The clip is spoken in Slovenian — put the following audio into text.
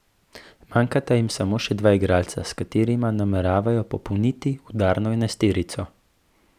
Manjkata jim samo še dva igralca, s katerima nameravajo popolniti udarno enajsterico.